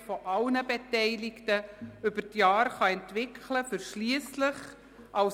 221 Interlaken – Grindelwald, Gemeinde Wilderswil; Umfahrung Wilderswil.